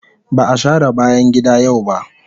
Ba a share bayan gida yau ba.